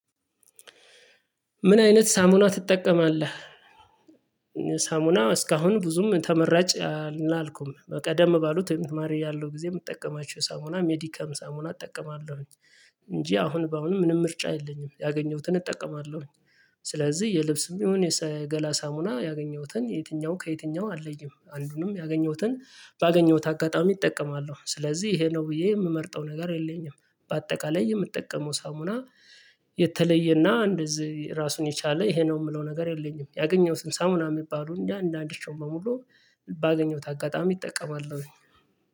ምን አይነት ሳሙና ትጠቀማለህ? ሳሙና እስካሁን ብዙም ተመራጭ አልኩም በቀደም ባሉት ተማሪ ያለው ጊዜ የምጠቀማችሁ ሳሙና ሜዲካም ሳሙና እጠቀማለሁኝ። እንጂ አሁን በአሁንም ምንም ምርጫ የለኝም ያገኘሁትን እጠቀማለሁኝ። ስለዚህ የልብስም የሆነ የገላ ሳሙና ያገኘሁትን የትኛው ከየትኛው አለይም አንዱንም ያገኘሁትን ባገኘሁት አጋጣሚ እጠቀማለሁ ስለዚህ ይሄ ነው ብዬ የምመርጠው ነገር የለኝም። በአጠቃላይ የምጠቀመው ሳሙና የተለየና እንደዚህ ራሱን የቻለ ይሄ ነው የምለው ነገር የለኝም። ያገኘሁትን ሳሙና የሚባሉ እያንዳንዳቸውን በሙሉ ባገኘሁት አጋጣሚ እጠቀማለሁኝ